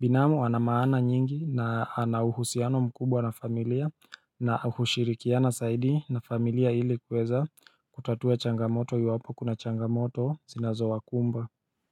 Binamu anamaana nyingi na anauhusiano mkubwa na familia na hushirikiana zaidi na familia ili kuweza kutatua changamoto iwapo kuna changamoto zinazo wakumba.